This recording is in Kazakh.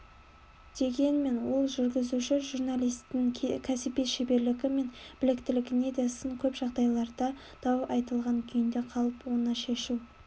дегенмен ол жүргізуші журналистің кәсіби шеберлігі мен біліктілігіне де сын көп жағдайларда дау айтылған күйінде қалып оны шешу